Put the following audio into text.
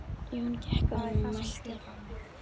Jón gekk að honum og mælti